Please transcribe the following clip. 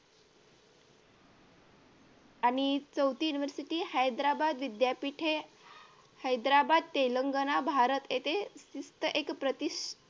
आणि चौथी university हैदराबाद विद्यापीठ हे हैदराबाद तेलंगणा भारत येथे शिष्ट एक प्रतिस